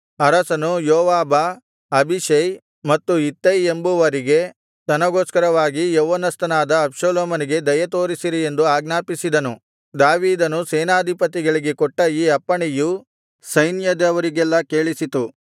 ಅರಸನು ಯೋವಾಬ ಅಬೀಷೈ ಮತ್ತು ಇತ್ತೈ ಎಂಬುವರಿಗೆ ನನಗೋಸ್ಕರವಾಗಿ ಯೌವನಸ್ಥನಾದ ಅಬ್ಷಾಲೋಮನಿಗೆ ದಯೆ ತೋರಿಸಿರಿ ಎಂದು ಆಜ್ಞಾಪಿಸಿದನು ದಾವೀದನು ಸೇನಾಧಿಪತಿಗಳಿಗೆ ಕೊಟ್ಟ ಈ ಅಪ್ಪಣೆಯು ಸೈನ್ಯದವರಿಗೆಲ್ಲಾ ಕೇಳಿಸಿತು